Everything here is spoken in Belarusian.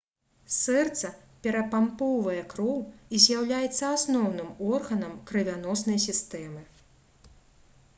сэрца перапампоўвае кроў і з'яўляецца асноўным органам крывяноснай сістэмы